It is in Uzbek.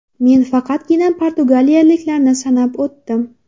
Men faqatgina portugaliyaliklarni sanab o‘tdim.